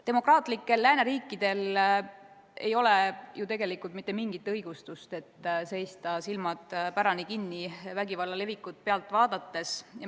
Demokraatlikel lääneriikidel ei ole ju tegelikult mitte mingisugust õigustust, et seista, silmad pärani kinni, vägivalla levikut pealt vaadates.